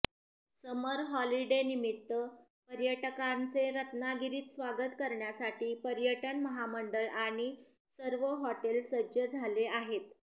समर हॉलिडेनिमित्त पर्यटकांचे रत्नागिरीत स्वागत करण्यासाठी पर्यटन महामंडळ आणि सर्व हॉटेल सज्ज झाले आहेत